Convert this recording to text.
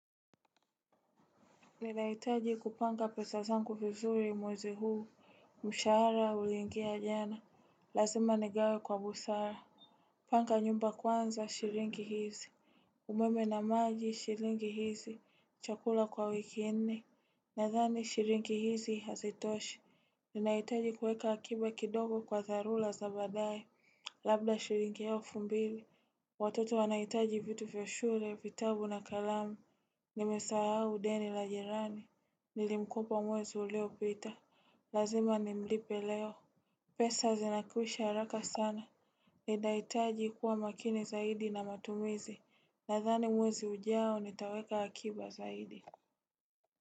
Ninahitaji kupanga pesa zangu vizuri mwezi huu, mshahara uliingia jana, lazima nigawe kwa busara Panga nyumba kwanza, shiringi hizi umeme na maji, shiringi hizi, chakula kwa wiki nne, nadhani shiringi hizi hazitoshi Ninahitaji kuweka akiba kidogo kwa dharula za badae, labda shiringi elfu mbili Watoto wanahitaji vitu vya shule, vitabu na kalamu Nimesahau deni la jirani Nilimkopa mwezi uliopita, lazima nimlipe leo pesa zinakwisha haraka sana Ninahitaji kuwa makini zaidi na matumizi Nadhani mwezi ujao nitaweka akiba zaidi.